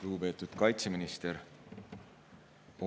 Lugupeetud kaitseminister!